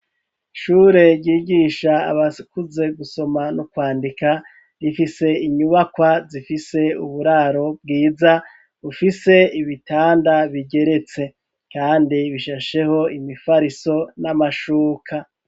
Ishure ryigisha abakuze gusoma no kwandika rifise inyubakwa zifise uburaro bwiza bufise ibitanda bigeretse kandi bishasheho imifariso n'amashuka.